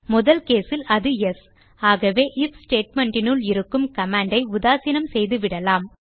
முதல் கேஸ் இல் அது யெஸ் ஆகவே ஐஎஃப் ஸ்டேட்மெண்ட் இனுள் இருக்கும் கமாண்ட் ஐ உதாசீனம் செய்துவிடலாம்